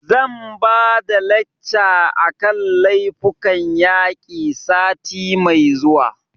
Zan ba da lacca a kan laifukan yaƙi sati mai zuwa